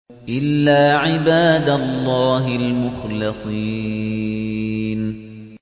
إِلَّا عِبَادَ اللَّهِ الْمُخْلَصِينَ